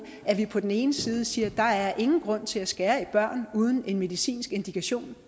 at vi på den ene side siger at der er ingen grund til at skære i børn uden en medicinsk indikation